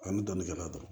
Ani dɔnni kɛla dɔrɔn